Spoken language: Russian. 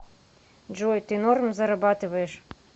джой ты норм зарабатываешь